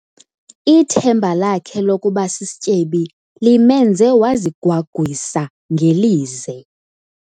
Ithemba lakhe lokuba sisityebi limenze wazigwagwisa ngelize.